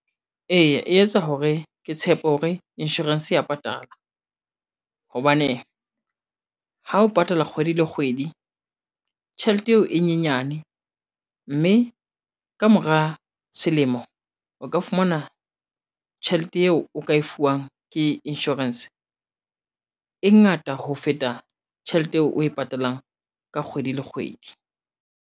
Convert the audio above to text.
Eya e etsa hore ke tshepe hore insurance ya patala, hobane ha o patala kgwedi le kgwedi tjhelete eo e nyenyane mme, kamora selemo o ka fumana tjhelete eo o ka e fuwang ke insurance, e ngata ho feta tjhelete eo o e patalang ka kgwedi le kgwedi.